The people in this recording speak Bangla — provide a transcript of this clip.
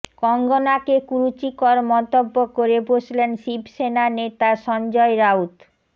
কঙ্গনাকে কুরুচিকর মন্তব্য করে বসলেন শিবসেনা নেতা সঞ্জয় রাউত